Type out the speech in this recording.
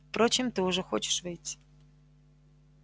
впрочем ты уже хочешь выйти